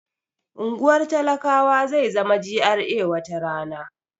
Unguwar talakawa zai zama GRA wata rana